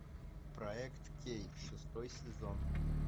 проект кей шестой сезон